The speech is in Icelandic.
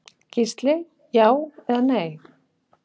Gísli: Já eða nei.